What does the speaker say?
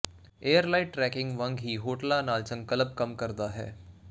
ਏਅਰਲਾਇਡ tracking ਵਾਂਗ ਹੀ ਹੋਟਲਾਂ ਨਾਲ ਸੰਕਲਪ ਕੰਮ ਕਰਦਾ ਹੈ